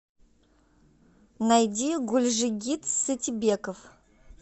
найди гульжигит сатибеков